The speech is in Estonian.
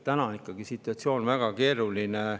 Täna on situatsioon ikkagi väga keeruline.